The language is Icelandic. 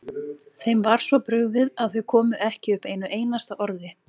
Þeim var svo brugðið að þau komu ekki upp einu einasta orði.